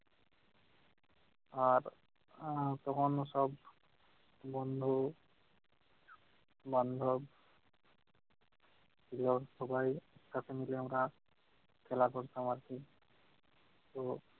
আর আহ তখন ওসব বন্ধু বান্ধব দেওয়ার সবাই কাছে মিলে আমরা খেলা করতাম আর কি। তো